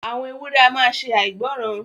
Àwọn èwùré à maa ṣè àìgbòran.